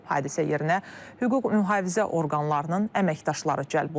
Hadisə yerinə hüquq mühafizə orqanlarının əməkdaşları cəlb olunub.